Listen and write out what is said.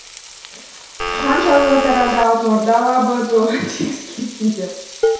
хан жарлығы тарады алтын орда алабы тойға тегіс келсін деп